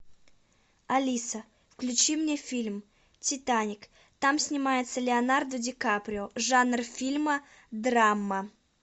алиса включи мне фильм титаник там снимается леонардо ди каприо жанр фильма драма